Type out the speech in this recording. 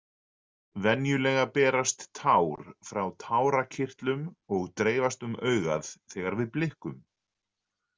Venjulega berast tár frá tárakirtlum og dreifast um augað þegar við blikkum.